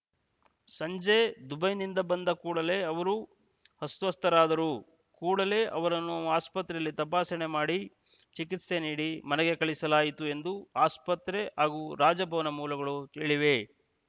ಸಂಜೆ ದುಬೈನಿಂದ ಬಂದ ಕೂಡಲೇ ಅವರು ಅಸ್ವಸ್ಥರಾದರು ಕೂಡಲೇ ಅವರನ್ನು ಆಸ್ಪತ್ರೆಯಲ್ಲಿ ತಪಾಸಣೆ ಮಾಡಿ ಚಿಕಿತ್ಸೆ ನೀಡಿ ಮನೆಗೆ ಕಳಿಸಲಾಯಿತು ಎಂದು ಆಸ್ಪತ್ರೆ ಹಾಗೂ ರಾಜಭವನ ಮೂಲಗಳು ಹೇಳಿವೆ